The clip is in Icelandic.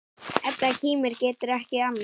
Edda kímir, getur ekki annað.